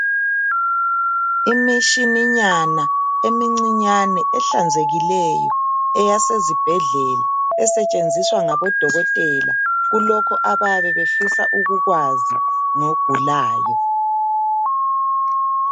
Imitshininyana emincinyane ehlanzekileyo eyase zibhedlela esetshenziswa ngabodokotela kulokhu abayabe befisa ukukwazi ngogulayo.